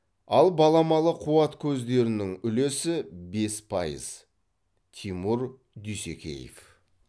ал баламалы қуат көздерінің үлесі бес пайыз тимур дүйсекеев